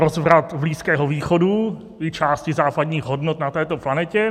Rozvrat Blízkého východu i části západních hodnot na této planetě.